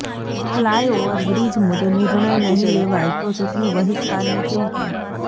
fly overbridge મુદ્દે નિર્ણય નહીં લેવાય તો ચૂંટણી બહિષ્કારની ચીમકી